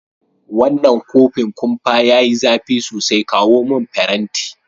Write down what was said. Wanan kofin kumpa ya yi zafi sosai, kawo mun farenti.